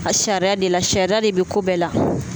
A sariya de la sariya de bɛ ko bɛɛ la